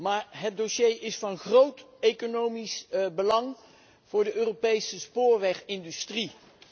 Maar het dossier is van groot economisch belang voor de Europese spoorwegindustrie.